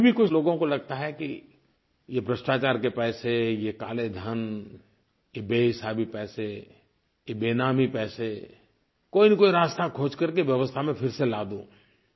अभी भी कुछ लोगों को लगता है कि ये भ्रष्टाचार के पैसे ये काले धन ये बेहिसाबी पैसे ये बेनामी पैसे कोईनकोई रास्ता खोज करके व्यवस्था में फिर से ला दूँ